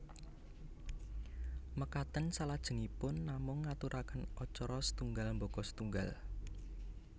Makaten salajengipun namung ngaturaken acara setunggal baka setunggal